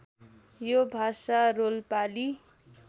यो भाषा रोल्पाली